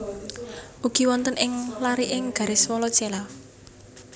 Ugi wonten ing lariking garis Wallacea